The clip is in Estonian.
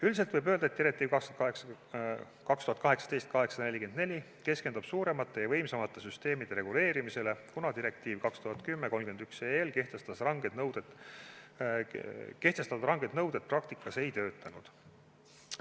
Üldiselt võib öelda, et direktiiv 2018/844 keskendub suuremate ja võimsamate süsteemide reguleerimisele, kuna direktiivi 2010/31 kehtestatud ranged nõuded praktikas ei töötanud.